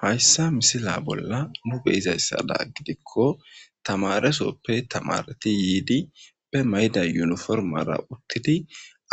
Hayssa misila bolla nu beyizayssada gidikko tamaresoppe tamareti yiidi be mayda yuniformara uttidi